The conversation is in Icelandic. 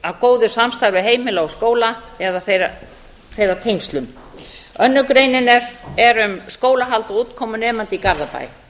að góðu samstarfi heimila og skóla eða þeirra tengslum önnur greinin er um skólahald og útkomu nemenda í garðabæ